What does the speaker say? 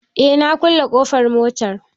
Eh, na kulle ƙofar motar